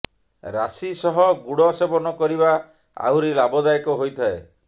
ରାଶି ସହ ଗୁଡ଼ ସେବନ କରିବା ଆହୁରି ଲାଭଦାୟକ ହୋଇଥାଏ